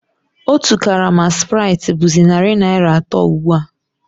Otu karama spráitị bụ̀zị narị naira atọ ugbu a